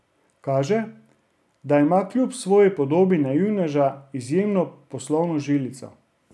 Kaže, da ima kljub svoji podobi naivneža izjemno poslovno žilico.